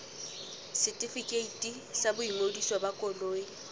setefikeiti sa boingodiso ba koloi